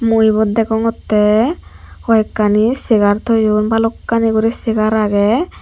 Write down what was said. mui ebot degongotte hoikani segar toyon balukani guri segar agey.